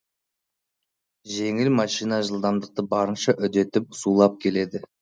жеңіл машина жылдамдықты барынша үдетіп зулап келеді